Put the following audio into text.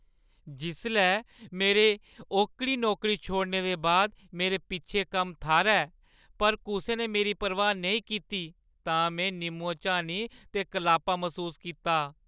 जिसलै मेरे ओह्‌कड़ी नौकरी छोड़ने दे बाद मेरे पिछले कम्म थाह्‌रै पर कुसै ने मेरी परवाह् नेईं कीती तां में निम्मो-झानी ते कलापा मसूस कीता।